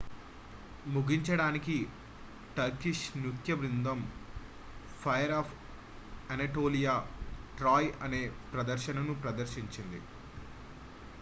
"ముగించడానికి టర్కిష్ నృత్య బృందం ఫైర్ ఆఫ్ అనటోలియా "ట్రాయ్" అనే ప్రదర్శనను ప్రదర్శించింది.